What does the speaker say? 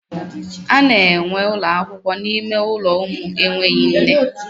A na enwee ụlọakwụkwọ n'ime ụlọ ụmụ enweghị nne.